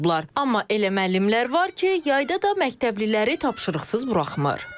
Amma elə müəllimlər var ki, yayda da məktəbliləri tapşırıqsız buraxmır.